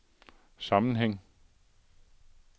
sammenhæng